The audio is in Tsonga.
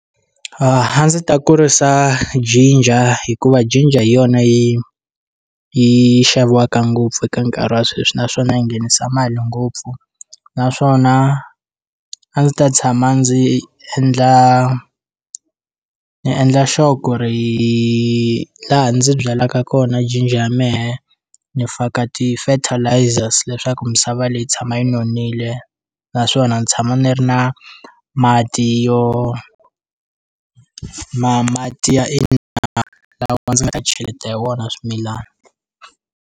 A ndzi ta kurisa jinja hikuva jinja hi yona yi yi xaviwaka ngopfu eka nkarhi wa sweswi naswona yi nghenisa mali ngopfu naswona a ndzi ta tshama ndzi endla ni endla sure ku ri laha ndzi byalaka kona jinja ya mehe ni faka ti-fertilizers leswaku misava leyi yi tshama yi nonile naswona ni tshama ni ri na mati yo ma mati ya i ndzi nga ta cheleta hi wona swimilani.